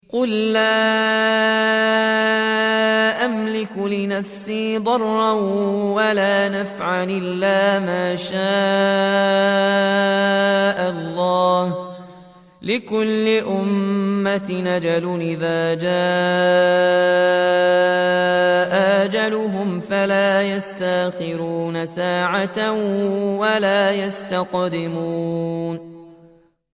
قُل لَّا أَمْلِكُ لِنَفْسِي ضَرًّا وَلَا نَفْعًا إِلَّا مَا شَاءَ اللَّهُ ۗ لِكُلِّ أُمَّةٍ أَجَلٌ ۚ إِذَا جَاءَ أَجَلُهُمْ فَلَا يَسْتَأْخِرُونَ سَاعَةً ۖ وَلَا يَسْتَقْدِمُونَ